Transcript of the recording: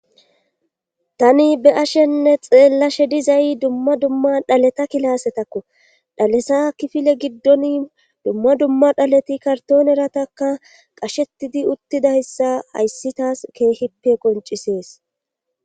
Tani be ashenne xeellashe dizay dumma dumma dhaleta kilaasetakko dhalesa kifile giddon dumma dumma dhaleti kartoon erataka qashettidi uttida hssa hayssitaas keehippe qoncisees